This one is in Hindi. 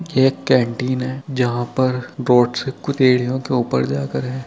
ये एक कैंटीन है जहा पर सीढ़ियों के ऊपर जाकर है।